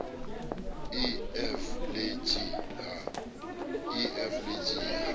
e f le g ha